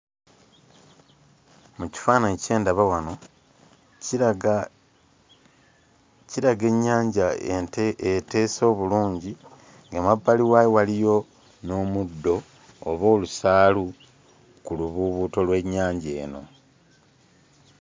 Mu kifaananyi kye ndaba wano kiraga kiraga ennyanja ente eteese obulungi, ng'emabbali waayo waliyo n'omuddo oba olusaalu ku lubuubuuto lw'ennyanja eno.